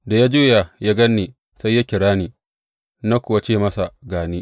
Da ya juya ya gan ni sai ya kira ni, na kuwa ce masa, Ga ni?’